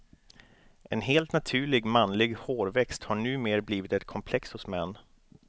En helt naturlig manlig hårväxt har nu mer blivit ett komplex hos män.